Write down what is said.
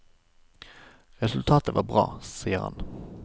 Resultatet var bra, sier han.